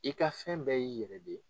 I ka fɛn bɛɛ y'i yɛrɛ de ye.